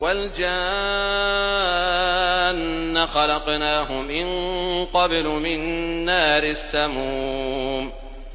وَالْجَانَّ خَلَقْنَاهُ مِن قَبْلُ مِن نَّارِ السَّمُومِ